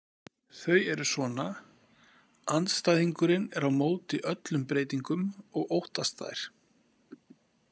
Þau eru svona: Andstæðingurinn er á móti öllum breytingum og óttast þær.